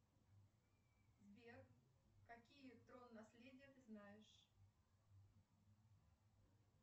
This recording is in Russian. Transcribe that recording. сбер какие трон наследие ты знаешь